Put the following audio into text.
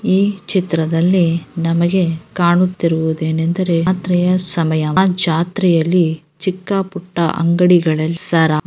ಈ ಚಿತ್ರದಲ್ಲಿ ನಮಗೆ ಕಾಣುತ್ತಿರುವುದೇನೆಂದರೆ ರಾತ್ರಿಯ ಸಮಯ ಆ ಜಾತ್ರೆಯಲ್ಲಿ ಚಿಕ್ಕ ಪುಟ್ಟ ಅಂಗಡಿಗಳ ಸರ --